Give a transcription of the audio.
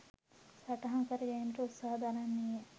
සටහන් කර ගැනීමට උත්සාහ දරන්නීය.